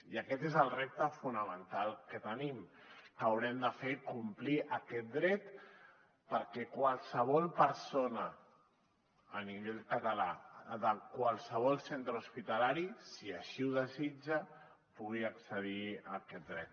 i aquest és el repte fonamental que tenim que haurem de fer complir aquest dret perquè qualsevol persona a nivell català de qualsevol centre hospitalari si així ho desitja pugui accedir a aquest dret